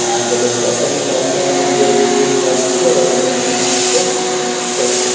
यहाँ से लोग पैसे निकालते हैं अपनी जरुरत के हिसाब से और अपने-अपने काम को करते हैं।